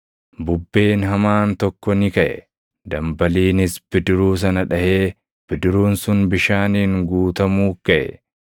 Bubbeen hamaan tokko ni kaʼe; dambaliinis bidiruu sana dhaʼee bidiruun sun bishaaniin guutamuu gaʼe.